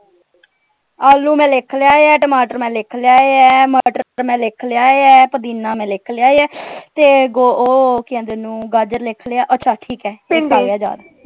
ਆਲੂ ਮੈਂ ਲਿਖ ਲਏ ਹੈ ਟਮਾਟਰ ਮੈਂ ਲਿਖ ਲਏ ਹੈ ਮਟਰ ਮੈਂ ਲਿਖ ਲਿਆ ਹੈ ਪੁਦੀਨਾ ਮੈਂ ਲਿਖ ਲਿਆ ਹੈ ਤੇ ਉਹ ਕਿ ਕਹਿੰਦੇ ਓਹਨੂੰ ਗਾਜਰ ਲਿਖ ਲਿਆ ਅੱਛਾ ਠੀਕ ਹੈ ਇਕ ਆ ਗਿਆ ਯਾਦ।